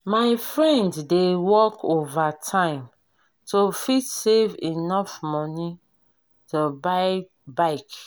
my friend dey work overtime to fit save enough money to buy bike